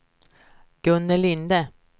Gunnel Linde